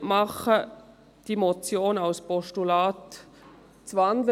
Ich würde beliebt machen, diese Motion in ein Postulat zu wandeln.